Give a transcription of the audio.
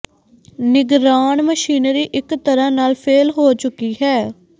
ਨਿਗਰਾਨ ਮਸ਼ੀਨਰੀ ਇੱਕ ਤਰ੍ਹਾਂ ਨਾਲ ਫੇਲ੍ਹ ਹੋ ਚੁੱਕੀ ਹੈ